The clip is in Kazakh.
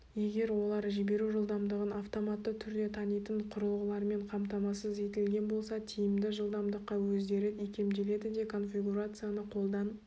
егер олар жіберу жылдамдығын автоматты түрде танитын құрылғылармен қамтамасыз етілген болса тиімді жылдамдыққа өздері икемделеді де конфигурацияны қолдан